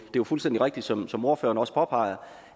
jo fuldstændig rigtigt som som ordføreren også påpeger